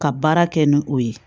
Ka baara kɛ ni o ye